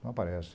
Não aparece.